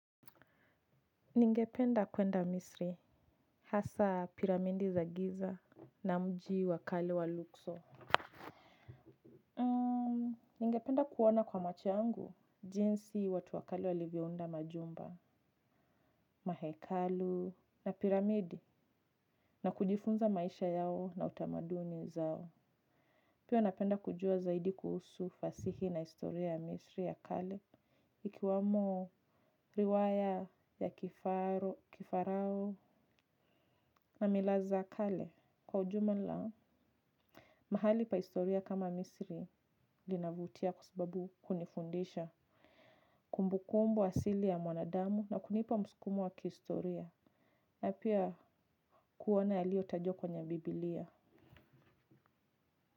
Ningependa kuenda misri hasa piramidi za giza na mji wa kali wa lukso. Ningependa kuona kwa macho yangu jinsi watu wa kale walivyounda majumba mahekalu na piramidi na kujifunza maisha yao na utamaduni zao. Pio napenda kujua zaidi kuhusu fasihi na historia ya misri ya kale ikiwamo riwaya ya kifaro kifarao. Na mila za kale kwa ujumla mahali pa historia kama misiri linavutia kwa sababu hunifundisha kumbukumbu asili ya mwanadamu na kunipa mskumumo wa kihistoria. Na pia kuona yaliotajwa kwenye biblia.